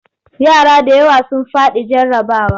Yara da yawa sun faɗi jarrabawa.